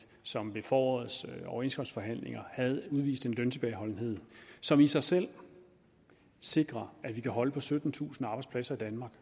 som ved forårets overenskomstforhandlinger udviste en løntilbageholdenhed som i sig selv sikrer at vi kan holde på syttentusind arbejdspladser i danmark